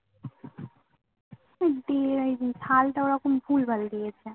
ওই DIG সালটা ওরকম ভুলভাল দিয়েছে।